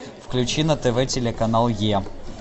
включи на тв телеканал е